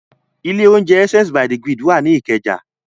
Ilé-oúnjẹ Essence by the Grid wà ní Ìkẹjà.